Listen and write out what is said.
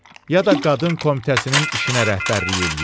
ya da qadın komitəsinin işinə rəhbərlik eləyir.